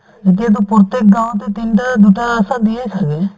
এতিয়াতো প্ৰত্যেক গাঁৱতে তিনটা দুটা আশা দিয়েই ছাগে